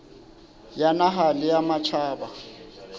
ya naha le ya matjhaba